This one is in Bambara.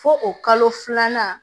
Fo o kalo filanan